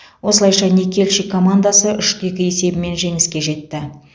осылайша никельщик командасы үш те екі есебімен жеңіске жетті